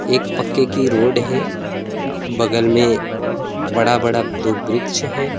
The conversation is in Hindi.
एक पक्के की रोड है बगल में बड़ा बड़ा दो वृक्ष है।